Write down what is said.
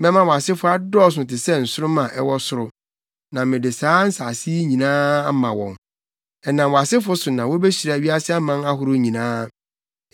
Mɛma wʼasefo adɔɔso te sɛ nsoromma a ɛwɔ soro, na mede saa nsase yi nyinaa ama wɔn. Ɛnam wʼasefo so na wobehyira wiase aman ahorow nyinaa.